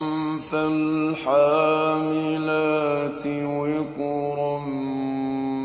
فَالْحَامِلَاتِ وِقْرًا